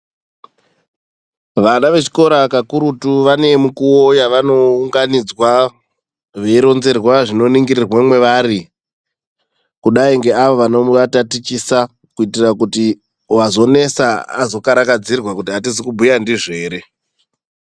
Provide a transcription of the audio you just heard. Vana vechikora kakurutu vane mukuwo yavano unganidzwa veiningirwa zviri mwavari kudai ngeava vano vatatichisa kuitira kuti wazones azo karakadzirwa kuti atizi kubhuya ndizvo here